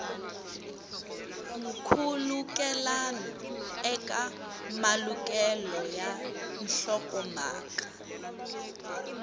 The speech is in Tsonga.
nkhulukelano eka malukelo ya nhlokomhaka